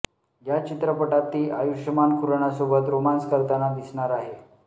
या चित्रपटात ती आयुषमान खुरानासोबत रोमान्स करताना दिसणार आहे